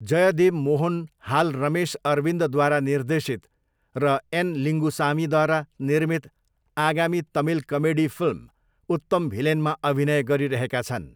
जयदेव मोहन हाल रमेश अरविन्दद्वारा निर्देशित र एन लिङ्गुसामीद्वारा निर्मित आगामी तमिल कमेडी फिल्म उत्तम भिलेनमा अभिनय गरिरहेका छन्।